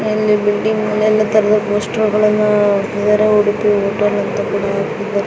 ಅಲ್ಲಿ ಬಿಲ್ಡಿಂಗ್ ಮೇಲೆಲ್ಲಾ ತರುವ ಪೋಸ್ಟರ್ಗಳನ್ನ ಹಾಕಿದರೆ ಉಡುಪಿ ಹೋಟೆಲ್ ಅಂತ ಕೂಡ ಹಾಕಿದರೆ.